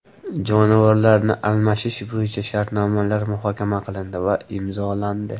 Jonivorlarni almashish bo‘yicha shartnomalar muhokama qilindi va imzolandi.